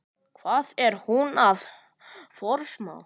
Hvað er hún að forsmá?